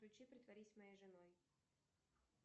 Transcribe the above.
включи притворись моей женой